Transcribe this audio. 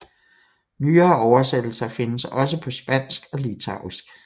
Nyere oversættelser findes også på spansk og litauisk